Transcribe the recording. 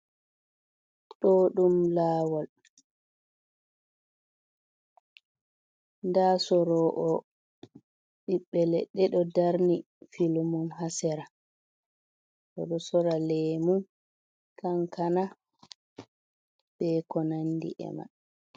Ɗo ɗum lawol nda sorowo ɓiɓɓe leɗɗe oɗo darni filumun ha sera. Oɗo sora lemu, kankana, be ko nandi e man.